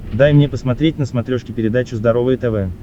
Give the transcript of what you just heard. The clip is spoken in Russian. дай мне посмотреть на смотрешке передачу здоровое тв